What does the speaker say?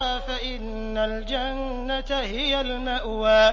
فَإِنَّ الْجَنَّةَ هِيَ الْمَأْوَىٰ